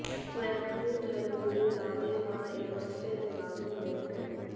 स्वयंभू धर्मगुरु राधे मां एक बार फिर विवादों में हैं